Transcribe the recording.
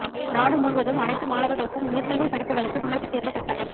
நாடு முழுவதும் அனைத்து மாணவர்களுக்கும் உயர்கல்வி படிப்புகளுக்கு நுழைவுத் தேர்வு கட்டாயம்